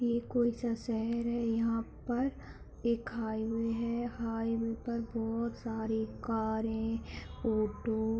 ये कोइ सा शहर है यहाँ पर एक हाईवे है हाईवे पर बहुत सारी कारें ऑटो --